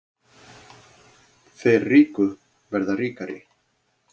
Þeir ríku verða ríkari